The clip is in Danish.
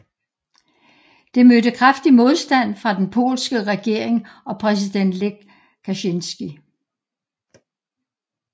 Det mødte kraftig modstand fra den polske regering og præsident Lech Kaczyński